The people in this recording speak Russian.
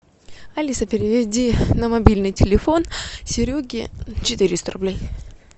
алиса переведи на мобильный телефон сереге четыреста рублей